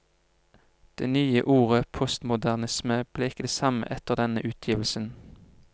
Det nye ordet postmodernisme ble ikke det samme etter denne utgivelsen.